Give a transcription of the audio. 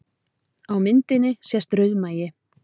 Á myndinni sést rauðmagi